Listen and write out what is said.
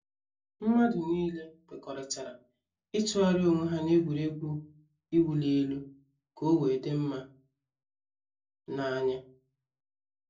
Mmadu niile kwekọrịtara ịtụgharị onwe ha n’egwuregwu ịwụ li elu ka ọ wee dị mma na anya